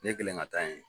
Ne kɛlen ka taa yen